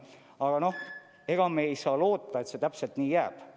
Aga ega me ei saa loota, et see täpselt nii jääb.